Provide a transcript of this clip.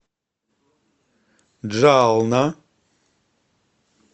джална